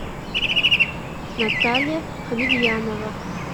наталья хабибьянова